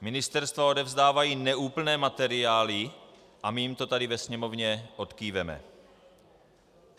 Ministerstva odevzdávají neúplné materiály a my jim to tady ve Sněmovně odkýváme.